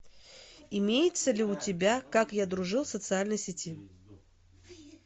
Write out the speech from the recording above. имеется ли у тебя как я дружил в социальной сети